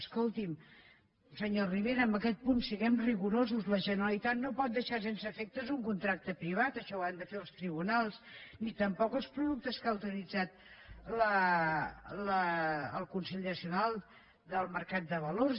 escolti’m senyor rivera en aquest punt siguem rigorosos la generalitat no pot deixar sense efecte un contracte privat això ho han de fer els tribunals i tampoc els productes que ha autoritzat la comissió nacional del mercat de valors